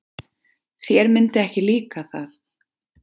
Þér myndi ekki líka það.